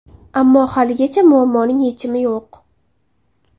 Ammo haligacha muammoning yechimi yo‘q.